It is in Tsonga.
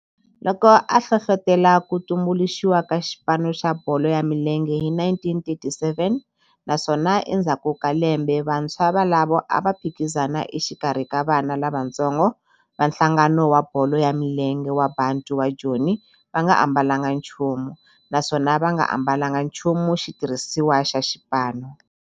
Loko a hlohlotela ku tumbuluxiwa ka xipano xa bolo ya milenge hi 1937 naswona endzhaku ka lembe vantshwa volavo a va phikizana exikarhi ka vana lavatsongo va nhlangano wa bolo ya milenge wa Bantu wa Joni va nga ambalanga nchumu naswona va nga ambalanga nchumu xitirhisiwa xa xipano.